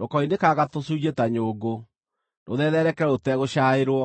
Rũkoinĩkanga tũcunjĩ ta nyũngũ, rũthethereke rũtegũcaĩrwo,